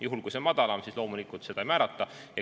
Juhul kui see on madalam, siis loomulikult lesepensioni ei määrata.